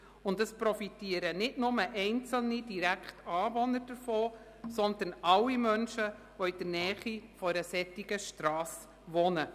Davon profitieren nicht nur einzelne direkte Anwohner, sondern alle Menschen, die in der Nähe einer solchen Strasse wohnen.